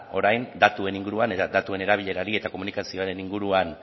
orain datuen inguruan datuen erabilerari eta komunikazioaren inguruan